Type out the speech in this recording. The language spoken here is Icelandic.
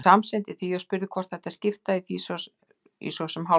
Hún samsinnti því og spurði hvort við ættum að skipta í svo sem hálfan mánuð.